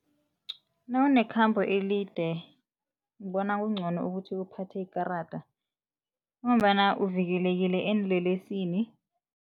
Nawunekhambo elide ngibona kuncono ukuthi uphathe ikarada ngombana uvikelekile eenlelesini.